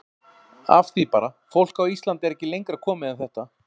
Af því bara, fólk á Íslandi er ekki lengra komið en þetta.